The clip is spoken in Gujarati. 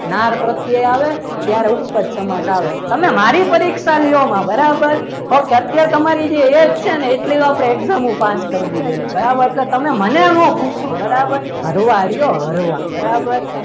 નાર પ્રત્યે આવે ત્યારે ઉપજ સમાસ આવે તમે મારી પરીક્ષા લેવા ના બરાબર okay તમારી જે એ જ છે એટલી તો આપણે exam ઓ પાસ કરી દીધી છે બરાબર તો તમે મને ન પૂછો બરાબર ફરવા રહ્યો હરવા બરાબર